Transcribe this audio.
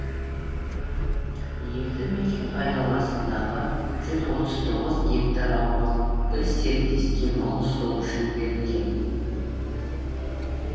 елді мекен айналасындағы жүз отыз тоғыз гектар аумақ бір серіктестікке мал ұстау үшін берілген